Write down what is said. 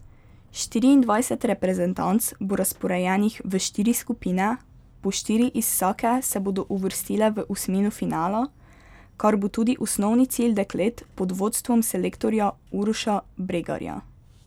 Štiriindvajset reprezentanc bo razporejenih v štiri skupine, po štiri iz vsake se bodo uvrstile v osmino finala, kar bo tudi osnovni cilj deklet pod vodstvom selektorja Uroša Bregarja.